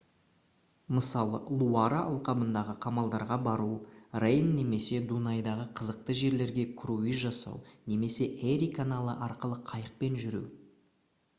мысалы луара алқабындағы қамалдарға бару рейн немесе дунайдағы қызықты жерлерге круиз жасау немесе эри каналы арқылы қайықпен жүру